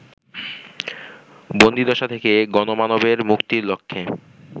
বন্দীদশা থেকে গণমানবের মুক্তির লক্ষ্যে